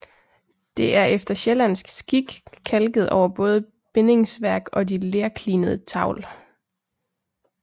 Det er efter sjællandsk skik kalket over både bindingsværk og de lerklinede tavl